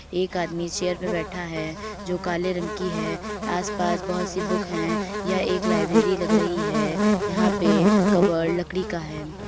एक आदमी चेयर पर बैठा है जो काले रंग की है आस पास बहुत सी बुक्स हैं यह एक लाइब्रेरी लग रही है यहाँ पे कपबोर्ड लकड़ी का है।